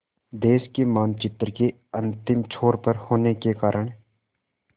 देश के मानचित्र के अंतिम छोर पर होने के कारण